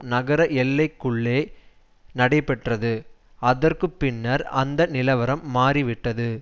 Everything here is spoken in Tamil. நகர எல்லைக்குள்ளே நடைபெற்றது அதற்கு பின்னர் அந்த நிலவரம் மாறிவிட்டது